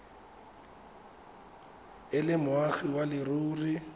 e le moagi wa leruri